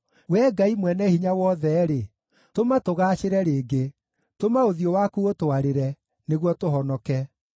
Wee Ngai-Mwene-Hinya-Wothe-rĩ, tũma tũgaacĩre rĩngĩ; tũma ũthiũ waku ũtwarĩre, nĩguo tũhonoke.